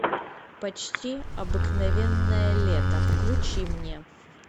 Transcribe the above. почти обыкновенное лето включи мне